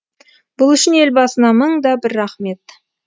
бұл үшін елбасына мың да бір рахмет